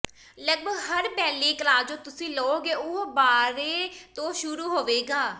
ਲਗਭਗ ਹਰ ballet class ਜੋ ਤੁਸੀਂ ਲਓਗੇ ਉਹ ਬਾਰਰੇ ਤੋਂ ਸ਼ੁਰੂ ਹੋਵੇਗਾ